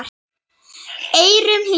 eyrum hlýðir